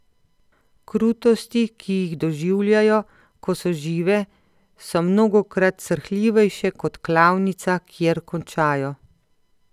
Krutosti, ki jih doživljajo, ko so žive, so mnogokrat srhljivejše kot klavnica, kjer končajo.